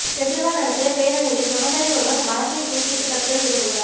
கெஜ்ரிவால் நடத்திய பேரணியில விவசாயி ஒருவர் மரத்தில் தூக்கிட்டு தற்கொலை செய்து கொண்டார்